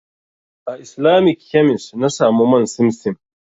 A Islamic kemis na samu man simsim.